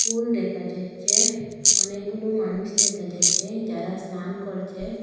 পুল দেখা যাচ্ছে অনেকগুনু মানুষ দেখা যাচ্ছে যারা স্নান করছে।